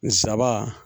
Nsaba